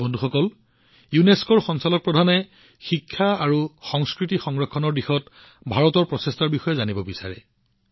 বন্ধুসকল ইউনেস্কোৰ ডিজিয়ে শিক্ষা আৰু সাংস্কৃতিক সংৰক্ষণ সম্পৰ্কে ভাৰতৰ প্ৰচেষ্টাৰ বিষয়ে জানিব বিচাৰিছে